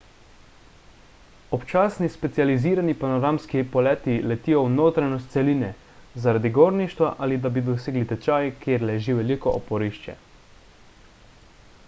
občasni specializirani panoramski poleti letijo v notranjost celine zaradi gorništva ali da bi dosegli tečaj kjer leži veliko oporišče